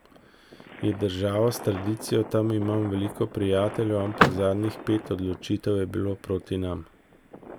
Je država s tradicijo, tam imam veliko prijateljev, ampak zadnjih pet odločitev je bilo proti nam.